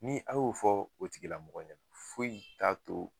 Ni a y'o fɔ o tigila mɔgɔ ɲɛna foyi t'a to